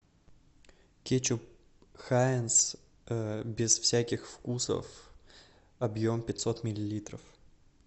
кетчуп хайнс без всяких вкусов объем пятьсот миллилитров